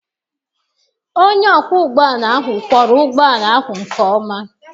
Onye ọkwọ ụgbọ ala ahụ kwọọrọ ụgbọala ahụ nke ọma.